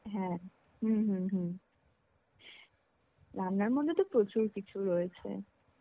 হ্যাঁ, হম হম হম. রান্নার মধ্যে তো প্রচুর কিছু রয়েছে.